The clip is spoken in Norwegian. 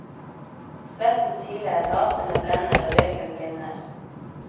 Svetten siler, laserne blender og røyken blinder.